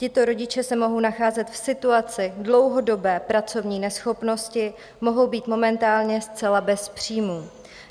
Tito rodiče se mohou nacházet v situaci dlouhodobé pracovní neschopnosti, mohou být momentálně zcela bez příjmů.